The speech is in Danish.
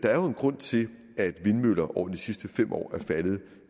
er jo en grund til at vindmøller over de sidste fem år er faldet